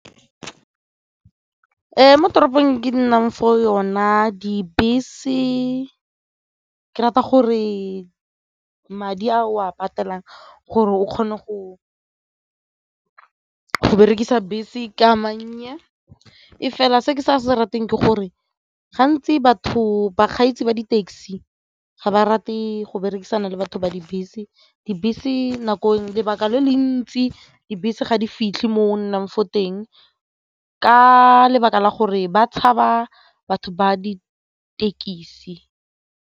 Mo toropong ke nnang fo yona dibese ke rata gore madi a o a patelang gore o kgone go go berekisa dibese ke a mannye fela se ke sa se rateng ke gore gantsi bakgweetsi ba di-taxi ga ba rate go berekisana le batho ba dibese, dibese lebaka le le ntsi dibese ga di fitlhe mo o nnang fo teng ka lebaka la gore ba tshaba batho ba ditekisi.